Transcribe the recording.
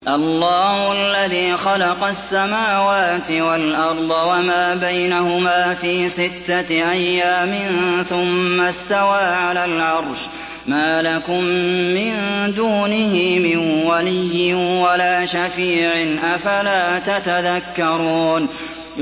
اللَّهُ الَّذِي خَلَقَ السَّمَاوَاتِ وَالْأَرْضَ وَمَا بَيْنَهُمَا فِي سِتَّةِ أَيَّامٍ ثُمَّ اسْتَوَىٰ عَلَى الْعَرْشِ ۖ مَا لَكُم مِّن دُونِهِ مِن وَلِيٍّ وَلَا شَفِيعٍ ۚ أَفَلَا تَتَذَكَّرُونَ